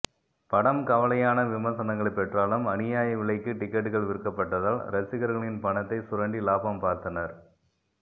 படம் கலவையான விமர்சனங்களைப் பெற்றாலும் அநியாய விலைக்கு டிக்கெட்கள் விற்கப்பட்டதால் ரசிகர்களின் பணத்தை சுரண்டி லாபம் பார்த்தனர்